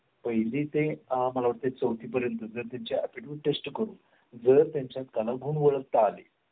तर मुलं मुलांकडून शिकतात. नगर लवकर म्हणजे त्यांना ती मजा वाटते ते नेक्स्ट इअर म्हणून ते असं घेत नाही ही मोठीच मुलं आहेत. मग त्याच्या दोन ते बघूनच म्हणजे आम्ही काही पॉईंट्स जस्ट करतो टीचरना.